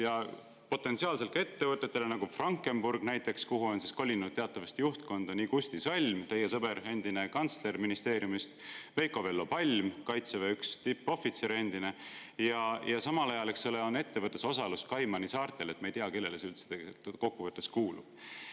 Ja potentsiaalselt ettevõtetel, nagu Frankenburg, kuhu juhtkonda on teatavasti kolinud teie sõber Kusti Salm, endine kantsler ministeeriumist, ja Veiko‑Vello Palm, Kaitseväe endine tippohvitser, on samal ajal ettevõtlusosalus Kaimanisaartel, nii et me ei tea, kellele see üldse kokku võttes kuulub.